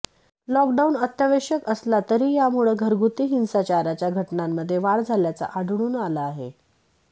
lock down अत्यावश्यक असला तरी यामुळं घरगुती हिंसाचाराच्या घटनांमध्ये वाढ झाल्याचं आढळून आलं आहे